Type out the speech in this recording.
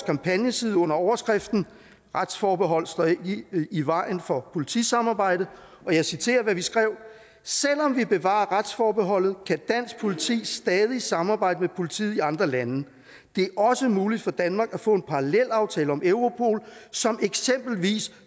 kampagneside under overskriften retsforbeholdet står ikke i vejen for politisamarbejde og jeg citerer hvad vi skrev selvom vi bevarer retsforbeholdet kan dansk politi stadig samarbejde med politiet i andre lande det er også muligt for danmark at få en parallelaftale om europol som eksempelvis